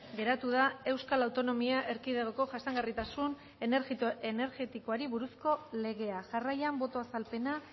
geratu da euskal autonomia erkidegoko jasangarritasun energetikoari buruzko legea jarraian boto azalpena